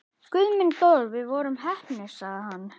Guð minn góður, við vorum heppnir sagði hann.